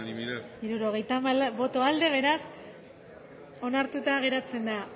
onako izan da hirurogeita hamalau eman dugu bozka hirurogeita hamalau boto aldekoa beraz onartuta geratzen da